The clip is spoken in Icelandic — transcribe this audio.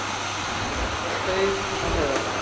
Jeppi lenti á staur á Höfðabakka